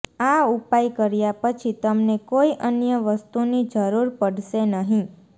આ ઉપાય કર્યા પછી તમને કોઇ અન્ય વસ્તુની જરૂર પડશે નહીં